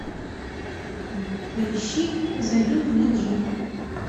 поищи зови меня джинн